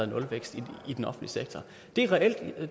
nulvækst i den offentlige sektor det er ikke at